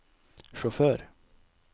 sjåfør